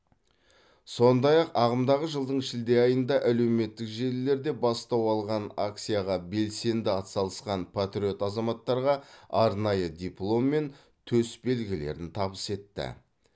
сондай ақ ағымдағы жылдың шілде айында әлеуметтік желілерде бастау алған акцияға белсенді атсалысқан патриот азаматтарға арнайы диплом мен төсбелгілерін табыс етті